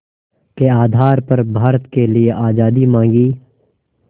के आधार पर भारत के लिए आज़ादी मांगी